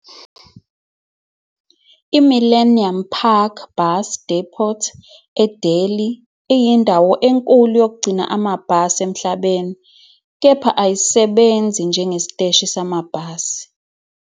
IMillennium Park Bus Depot eDelhi iyindawo enkulu yokugcina amabhasi emhlabeni, kepha ayisebenzi njengesiteshi samabhasi.